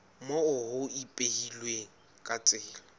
moo ho ipehilweng ka tsela